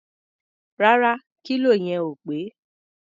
Rárá, kílò yẹn ò pé.